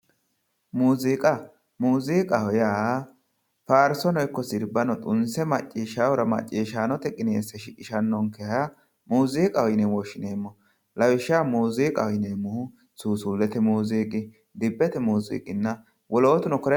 muuziiqa muziiqaho yaa faarsono ikko sirbahno xunse maccishshaahura maccishshaanote qineesse shiqishannokeha muziiqaho yine woshshinani lawishshaho muziiqaho yinanniri suusullete muziiqa dibbete muziiqa wolootuni kuri lawannoreeti